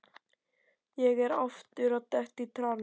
Ég er aftur að detta í trans.